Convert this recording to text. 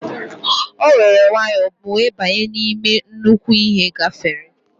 O were nwayo wee banye n'ime nnukwu ihe gafere.